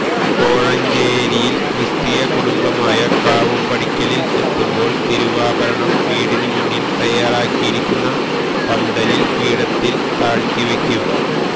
കോഴഞ്ചേരിയില് ക്രിസ്തീയ കുടുംബമായ കാവുംപടിക്കലില് എത്തുമ്പോള് തിരുവാഭരണം വീടിന് മുന്നില് തയാറാക്കിരിക്കുന്ന പന്തലില് പീഠത്തില് താഴ്ത്തി വയ്ക്കും